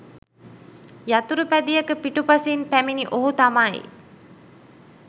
යතුරුපැදියක පිටුපසින් පැමිණි ඔහු තමයි